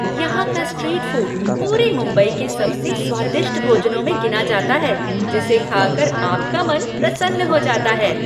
यहाँ का street food पूरे मुंबई के सबसे स्वादिष्ट भोजनों में गिना जाता है जिसे खा कर आपका मन प्रसन्न हो जाता है।